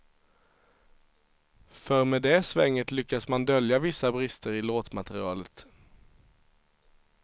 För med det svänget lyckas man dölja vissa brister i låtmaterialet.